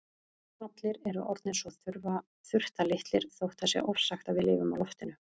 Allir eru orðnir svo þurftarlitlir þótt það sé ofsagt að við lifum á loftinu.